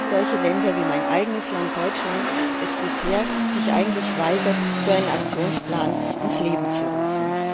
Auch solche Länder wie mein eigenes Land, Deutschland, das sich bisher weigert, so einen Aktionsplan ins Leben zu rufen.